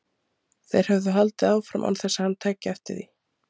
Þeir höfðu haldið áfram án þess að hann tæki eftir því.